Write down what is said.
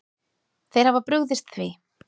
Þeir hafa brugðist því.